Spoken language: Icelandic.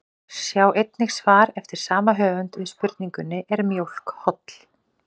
Sjá einnig svar eftir sama höfund við spurningunni Er mjólk holl?